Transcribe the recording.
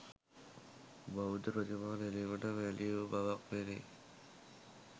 බෞද්ධ ප්‍රතිමා නෙළීමට මැලි වූ බවක් පෙනේ.